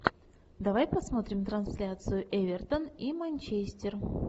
давай посмотрим трансляцию эвертон и манчестер